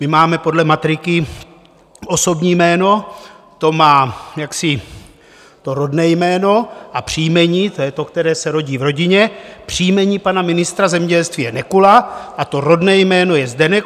My máme podle matriky osobní jméno, to má jaksi to rodné jméno, a příjmení, to je to, které se rodí v rodině, příjmení pana ministra zemědělství je Nekula a to rodné jméno je Zdeněk.